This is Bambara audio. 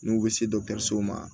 N'u bɛ se dɔgɔtɔrɔsow ma